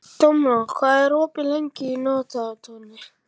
Dómald, hvað er opið lengi í Nóatúni?